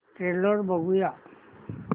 trailer बघूया